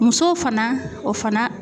Muso fana ,o fana